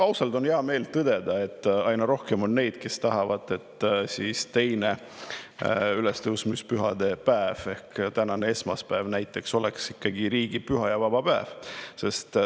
Ausalt on hea meel tõdeda, et aina rohkem on neid, kes tahavad, et teine ülestõusmispühade päev ehk tänane esmaspäev näiteks oleks ikkagi riigipüha ja vaba päev.